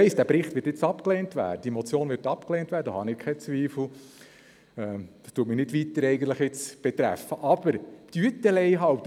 Sie wird in allen noch verbliebenen drei Punkten als Motion aufrechterhalten.